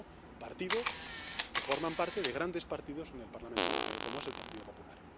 Lo han hecho partidos que forman parte de grandes partidos en el Parlamento Europeo, como es el Partido Popular.